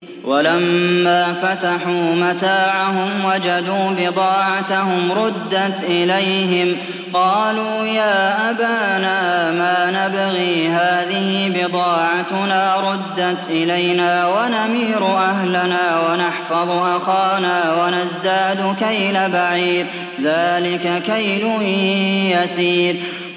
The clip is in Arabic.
وَلَمَّا فَتَحُوا مَتَاعَهُمْ وَجَدُوا بِضَاعَتَهُمْ رُدَّتْ إِلَيْهِمْ ۖ قَالُوا يَا أَبَانَا مَا نَبْغِي ۖ هَٰذِهِ بِضَاعَتُنَا رُدَّتْ إِلَيْنَا ۖ وَنَمِيرُ أَهْلَنَا وَنَحْفَظُ أَخَانَا وَنَزْدَادُ كَيْلَ بَعِيرٍ ۖ ذَٰلِكَ كَيْلٌ يَسِيرٌ